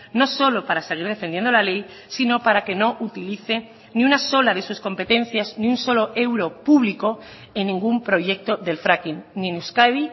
no solo para seguir defendiendo la ley sino para que no utilice ni una sola de sus competencias ni un solo euro público en ningún proyecto del fracking ni en euskadi